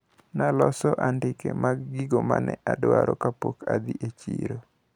Naloso andike mar gigo mane adwaro kapok nadhi e chiro.